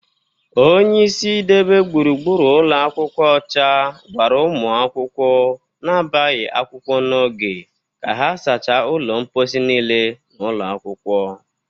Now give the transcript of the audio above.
Onyeisi idebe gbụrugbụru ụlọ akwụkwọ ọcha gwara ụmụ akwụkwọ na-abịaghị akwụkwọ n'oge ka ha sacha ụlọ mpọsị niile n'ụlọ akwụkwọ